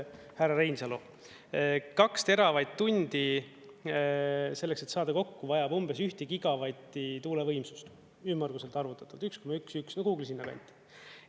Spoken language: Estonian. Härra Reinsalu, kaks teravatt-tundi, selleks et saada kokku, vajab umbes ühtegi gigavatti tuulevõimsust, ümmarguselt arvutatud 1,1, kuhugi sinna kanti.